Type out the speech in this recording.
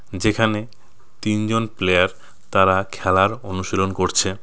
যেখানে তিনজন প্লেয়ার তারা খেলার অনুশীলন করছে.